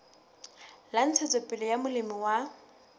la ntshetsopele ya molemi wa